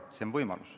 See on võimalus.